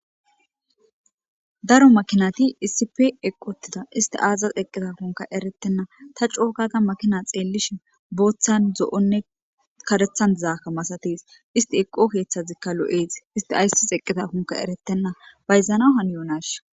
Daro makinati issipe eqi utida isti azis eqidakonka ereyena ta coo gada xeelishin bothan karethan zo'on dizathoka masates isti eqo kethazika lo'es isti azas eqidakonka eretena bayzanaw haniyonashin